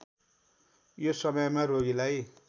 यो समयमा रोगीलाई